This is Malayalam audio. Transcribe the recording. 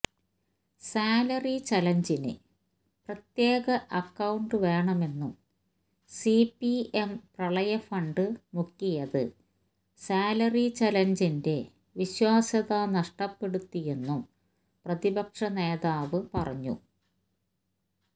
സാലറി ചലഞ്ചിന് പ്രത്യേക അക്കൌണ്ട് വേണമെന്നും സിപിഎം പ്രളയഫണ്ട് മുക്കിയത് സാലറി ചലഞ്ചിന്റെ വിശ്വാസ്യത നഷ്ടപ്പെടുത്തിയെന്നും പ്രതിപക്ഷനേതാവ് പറഞ്ഞു